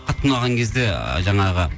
қатты ұнаған кезде жаңағы